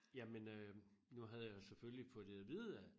Jamen øh nu havde jeg jo selvfølgelig fået det at vide af